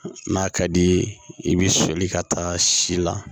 N'a ka di ye i bɛ sɔli ka taa si la